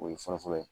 O ye fɔlɔ fɔlɔ ye